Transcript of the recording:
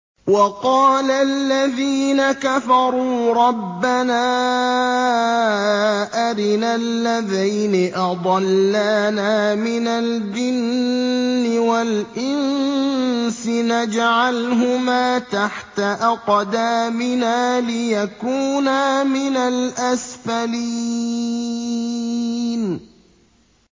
وَقَالَ الَّذِينَ كَفَرُوا رَبَّنَا أَرِنَا اللَّذَيْنِ أَضَلَّانَا مِنَ الْجِنِّ وَالْإِنسِ نَجْعَلْهُمَا تَحْتَ أَقْدَامِنَا لِيَكُونَا مِنَ الْأَسْفَلِينَ